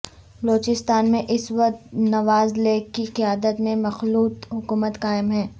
بلوچستان میں اس وقت نواز لیگ کی قیادت میں مخلوط حکومت قائم ہے